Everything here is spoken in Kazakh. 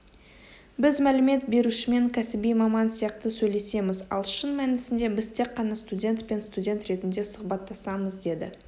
біз мәлімет берушімен кәсіби маман сияқты сөйлесеміз ал шын мәнісінде біз тек қана студент пен студент ретінде сұхбаттасамыз деді